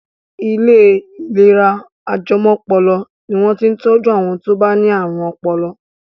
Ilé ìlera ajẹmọ́pọlọ ni wọ́n ti ń tọjú àwọn tó bá ní ààrùn ọpọlọ.